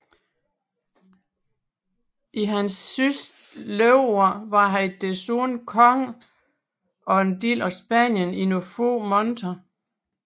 I sit sidste leveår var han desuden konge af en del af Spanien i nogle få måneder